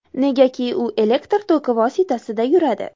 Negaki, u elektr toki vositasida yuradi.